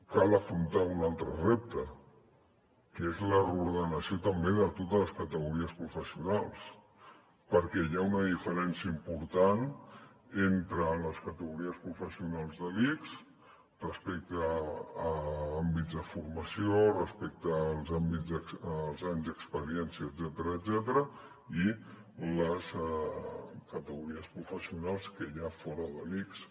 cal afrontar un altre repte que és la reordenació també de totes les categories professionals perquè hi ha una diferència important entre les categories professionals de l’ics respecte a àmbits de formació respecte als anys d’experiència etcètera i les categories professionals que hi ha fora de l’ics